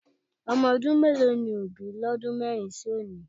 Ọmọ ọdún mélòó ni Òbí lọ́dún mẹ́rin sí òní?